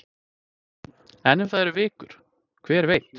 En ef það eru vikur, hver veit?